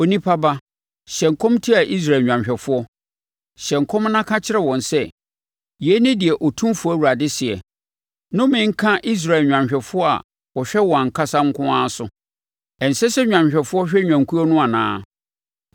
“Onipa ba, hyɛ nkɔm tia Israel nnwanhwɛfoɔ: hyɛ nkɔm na ka kyerɛ wɔn sɛ: ‘Yei ne deɛ Otumfoɔ Awurade seɛ: Nnome nka Israel nnwanhwɛfoɔ a wɔhwɛ wɔn ankasa nko ara so. Ɛnsɛ sɛ nnwanhwɛfoɔ hwɛ nnwankuo no anaa?